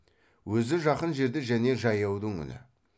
өзі жақын жерде және жаяудың үні